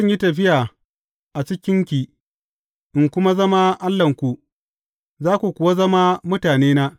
Zan yi tafiya a cikinki in kuma zama Allahnku, za ku kuwa zama mutanena.